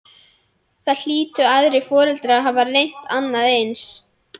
Það hlytu aðrir foreldrar að hafa reynt annað eins.